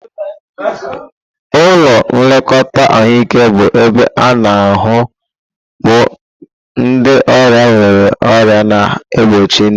Ụlọ nlekọta ahụike bụ ebe a-na ahu bu ndị ọrịa nwere ọrịa na-egbochi ndụ.